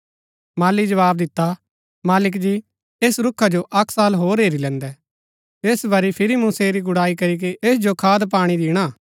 माली जवाव दिता मालिक जी ऐस रूखा जो अक्क साल होर हैरी लैन्दै ऐस बरी फिरी मूँ सेरी गूडाई करीके ऐस जो खाद पाणी दिणा